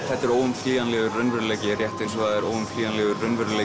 þetta er óumflýjanlegur raunveruleiki rétt eins og það er óumflýjanlegur raunveruleiki